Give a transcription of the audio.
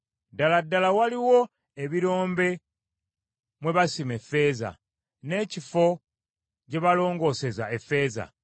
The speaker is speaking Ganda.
“Ddala ddala waliwo ebirombe mwe basima effeeza, n’ekifo gye balongooseza effeeza.